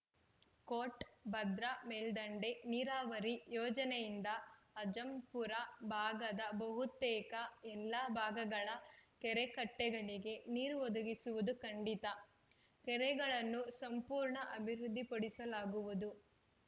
coat Bhadra ಮೇಲ್ದಂಡೆ ನೀರಾವರಿ ಯೋಜನೆಯಿಂದ ಅಜ್ಜಂಪುರ ಭಾಗದ ಬಹುತೇಕ ಎಲ್ಲ ಭಾಗಗಳ ಕೆರೆ ಕಟ್ಟೆಗಳಿಗೆ ನೀರು ಒದಗಿಸುವುದು ಖಂಡಿತ ಕೆರೆಗಳನ್ನು ಸಂಪೂರ್ಣ ಅಭಿವೃದ್ಧಿಪಡಿಸಲಾಗುವುದು